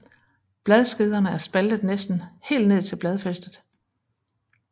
Bladskederne er spaltet næsten helt ned til bladfæstet